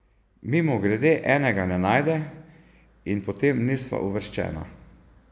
Mimogrede enega ne najde in potem nisva uvrščena.